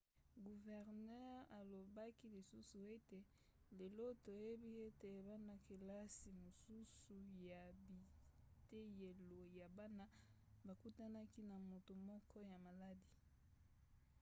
guvernere alobaki lisusu ete lelo toyebi ete bana-kelasi mosusu ya biteyelo ya bana bakutanaki na moto moko ya maladi.